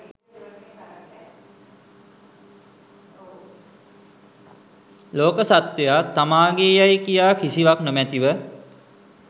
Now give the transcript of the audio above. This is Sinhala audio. ලෝක සත්ත්වයා තමා ගේ් යැයි කියා කිසිවක් නොමැතිව